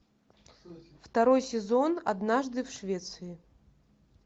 второй сезон однажды в швеции